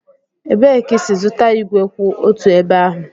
Ebee ka ị si zụta ígwè kwụ otu ebe ahụ?